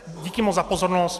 Díky moc za pozornost.